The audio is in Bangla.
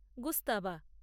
গুস্তাবা